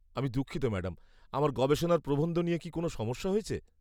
আমি দুঃখিত ম্যাডাম। আমার গবেষণার প্রবন্ধ নিয়ে কি কোনও সমস্যা হয়েছে?